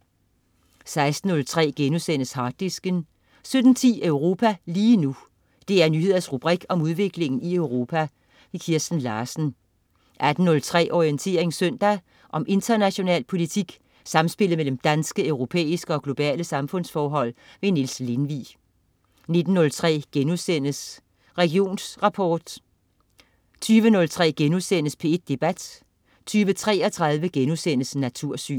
16.03 Harddisken* 17.10 Europa lige nu. DR Nyheders rubrik om udviklingen i Europa. Kirsten Larsen 18.03 Orientering søndag. Om international politik, samspillet mellem danske, europæiske og globale samfundsforhold. Niels Lindvig 19.03 Religionsrapport* 20.03 P1 Debat* 20.33 Natursyn*